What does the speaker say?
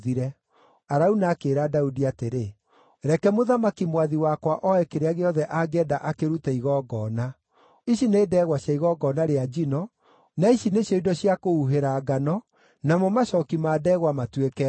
Arauna akĩĩra Daudi atĩrĩ, “Reke mũthamaki mwathi wakwa oe kĩrĩa gĩothe angĩenda akĩrute igongona. Ici nĩ ndegwa cia igongona rĩa njino, na ici nĩcio indo cia kũhuhĩra ngano namo macooki ma ndegwa matuĩke ngũ.